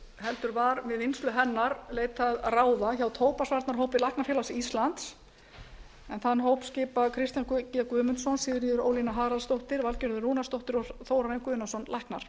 heldur var við vinnslu hennar leitað ráða hjá tóbaksvarnaráði læknafélags íslands en þann hóp skipa kristján g guðmundsson sigríður ólína haraldsdóttir valgerður rúnarsdóttir og þórarinn guðnason læknar